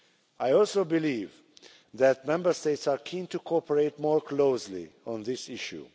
I also believe that Member States are keen to cooperate more closely on this issue.